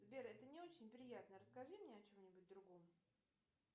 сбер это не очень приятно расскажи мне о чем нибудь другом